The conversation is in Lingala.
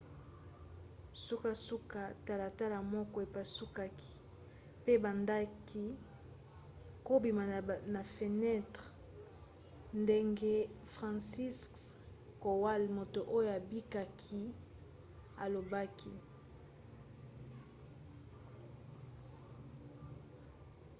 sukasuka talatala moko epasukaki mpe babandaki kobima na fenentre ndenge franciszek kowal moto oyo abikaki alobaki